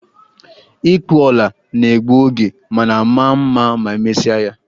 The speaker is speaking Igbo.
Ịkpụ ọla na-egbu oge, mana maa mma ma emesia ya